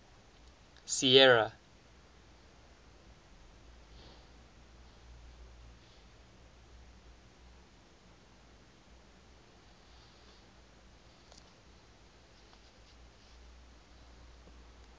sierra